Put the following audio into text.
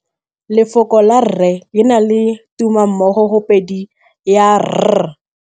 Lefoko la rre, le na le tumammogôpedi ya, r.